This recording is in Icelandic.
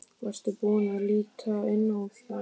Varstu búinn að líta inn í það?